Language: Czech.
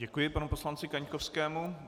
Děkuji panu poslanci Kaňkovskému.